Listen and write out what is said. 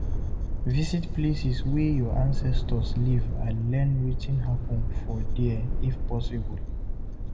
Visit the places wey your ancestors live and learn wetin happen for there if possible